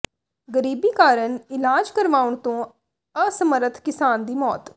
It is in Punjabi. ਗ਼ਰੀਬੀ ਕਾਰਨ ਇਲਾਜ ਕਰਵਾਉਣ ਤੋਂ ਅਸਮਰਥ ਕਿਸਾਨ ਦੀ ਮੌਤ